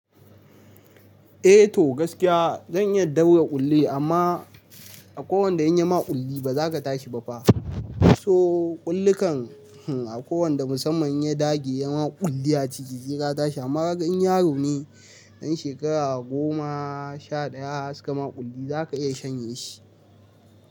Eh to gaskiya zan iya daure ƙulli amma a ko wanda in yi ma ƙulli ba za ka tashi ba fa. So ƙullikan a ko wanda musamman ya dage ya ma ƙulli a ciki zai rata shi amma in yaro ne ɗan shekara goma sha ɗaya ka ma ƙulli za ka iya shanye shi.